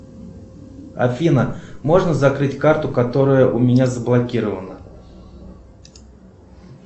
афина можно закрыть карту которая у меня заблокирована